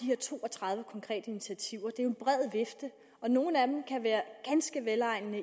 her to og tredive konkrete initiativer det er en bred vifte og nogle af dem kan være ganske velegnede